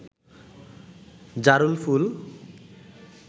জারুল ফুল